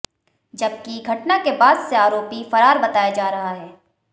जबकि घटना के बाद से आरोपी फरार बताया जा रहा है